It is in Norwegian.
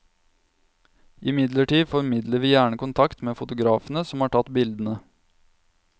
Imidlertid formidler vi gjerne kontakt med fotografene som har tatt bildene.